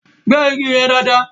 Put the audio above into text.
Gbẹ́ igi yẹn dáàdaa!